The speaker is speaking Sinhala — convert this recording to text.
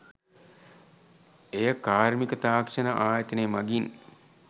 එය කාර්මික තාක්‍ෂණ ආයතනය මගින්